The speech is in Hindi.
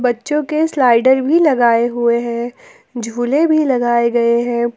जोकि स्लाइडर भी लगाए गए हैं झूले भी लगाए गए हैं।